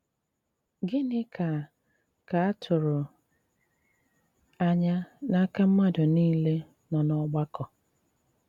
Gịnị́ ká ká à tụrụ́ ànyà n’ákà mmádụ́ nìlé nọ n’ọ́gbàkọ́?